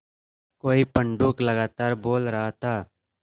कोई पंडूक लगातार बोल रहा था